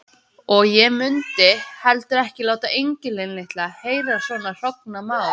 Og ég mundi heldur ekki láta engilinn litla heyra svona hrognamál.